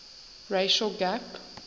racial gap